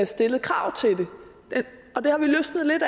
stillet krav til dem og det har vi løsnet lidt